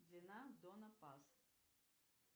длина дона пас